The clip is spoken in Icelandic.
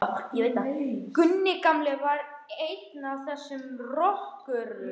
Gunni gamli var einn af þessum rökkurum.